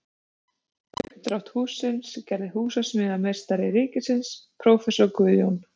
Uppdrátt hússins gerði húsameistari ríkisins prófessor Guðjón